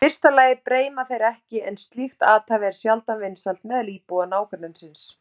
Í fyrsta lagi breima þeir ekki en slíkt athæfi er sjaldan vinsælt meðal íbúa nágrennisins.